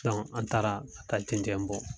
Dɔnku an taara ka taa cɛncɛn bɔ